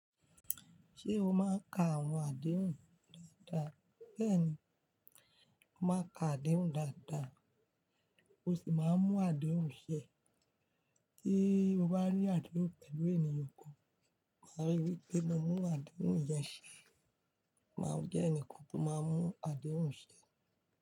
Ṣé o máa ń ka àwọn àdéhùn dáadáa? Bẹ́ẹ̀ni, mo máa ń ka àdéhùn dáadáa, mo sì máa ń mú àdéhùn ṣẹ. Tí mo bá ní àdéhùn pẹ̀lú ènìyàn kan, máa rí wípé mo mú àdéhùn yẹn ṣẹ. Máa jẹ́ ẹnì kan tó máa ń mú àdéhùn ṣẹ.